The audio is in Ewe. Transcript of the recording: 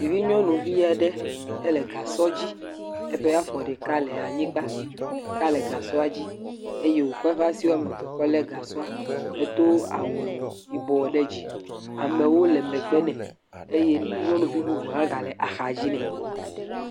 Ɖevi nyɔnuvi aɖe le gasɔ dzi eye eƒe afɔ ɖeka le anyigba, ɖeka le gasɔa dzi eye wokɔ eƒe asi woame eve kɔ le gasɔa. edo awu yibɔ ɖe dzi. Amewo le megbe nɛ eye nyɔnuvi bubu hã ga le axa dzi me.